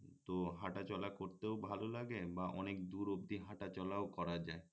তো হাঁটাচলা করতেও ভালো লাগে বা অনেক দূর অব্দি হাঁটাচলাও করা যায়